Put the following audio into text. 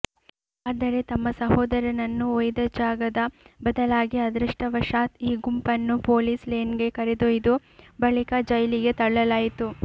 ಆದರೆ ತಮ್ಮ ಸಹೋದರನನ್ನು ಒಯ್ದ ಜಾಗದ ಬದಲಾಗಿ ಅದೃಷ್ಟವಶಾತ್ ಈ ಗುಂಪನ್ನು ಪೊಲೀಸ್ ಲೇನ್ಗೆ ಕರೆದೊಯ್ದು ಬಳಿಕ ಜೈಲಿಗೆ ತಳ್ಳಲಾಯಿತು